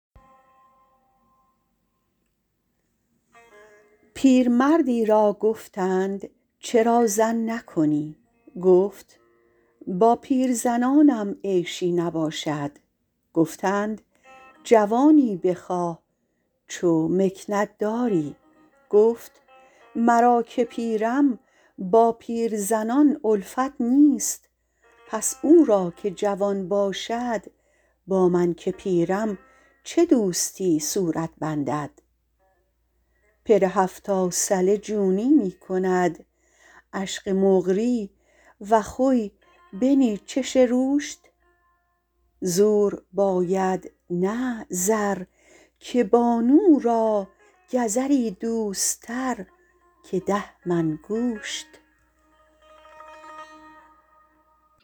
پیرمرد ی را گفتند چرا زن نکنی گفت با پیرزنانم عیشی نباشد گفتند جوانی بخواه چو مکنت داری گفت مرا که پیرم با پیرزنان الفت نیست پس او را که جوان باشد با من که پیرم چه دوستی صورت بندد پر هفتا ثله جونی می کند عشغ مقری و خی بنی چش روشت زور باید نه زر که بانو را گزر ی دوست تر که ده من گوشت